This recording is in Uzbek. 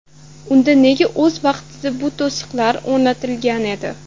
Unda nega o‘z vaqtida bu to‘siqlar o‘rnatilgan edi?